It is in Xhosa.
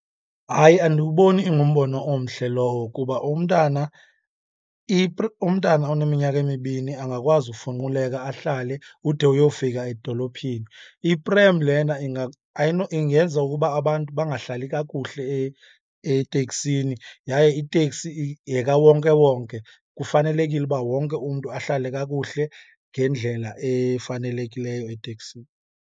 Hayi, andiwuboni ingumbono omhle lowo kuba umntana umntana oneminyaka emibini angakwazi ufunquleka, ahlale ude uyofika edolophini. Iprem lena ingenza ukuba abantu bangahlali kakuhle eteksini, yaye iteksi yekawonkewonke, kufanelekile uba wonke umntu ahlale kakuhle ngendlela efanelekileyo eteksini.